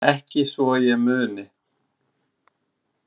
Ekki svo ég muni.